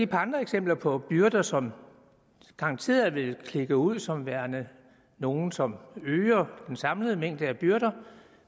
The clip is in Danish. par andre eksempler på byrder som garanteret vil klikke ud som værende nogle som øger den samlede mængde af byrder